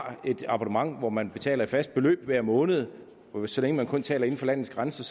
har et abonnement hvor man betaler et fast beløb hver måned så længe man kun taler inden for landets grænser